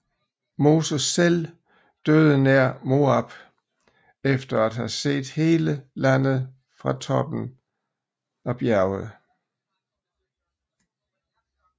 Moses selv døde nær Moab efter at have set hele landet fra toppen bjerget